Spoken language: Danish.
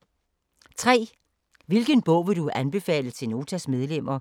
3) Hvilken bog vil du anbefale til Notas medlemmer?